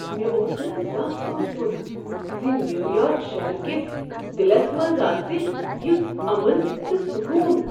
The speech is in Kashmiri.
مےٚ اوس نہٕ زانٛہہ سوچمت ز نیو یارک شہر کس دِلس منٛز آسہ یُتھ امن تہٕ سکون۔